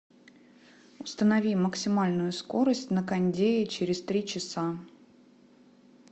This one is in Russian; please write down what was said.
установи максимальную скорость на кондее через три часа